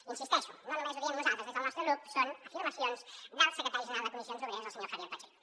hi insisteixo no només ho diem nosaltres des del nostre grup són afirmacions del secretari general de comissions obreres el senyor javier pacheco